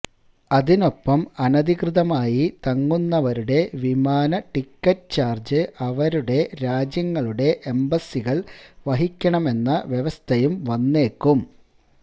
അതിനൊപ്പം അനധികൃതമായി തങ്ങുന്നവരുടെ വിമാന ടിക്കറ്റ് ചാര്ജ് അവരുടെ രാജ്യങ്ങളുടെ എംബസികള് വഹിക്കണമെന്ന വ്യവസ്ഥയും വന്നേക്കും